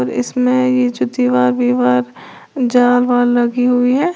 इसमें ये जो दीवार विवार जाल वाल लगी हुई है।